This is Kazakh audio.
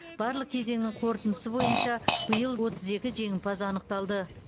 барлық кезеңнің қорытындысы бойынша биыл отыз екі жеңімпаз анықталды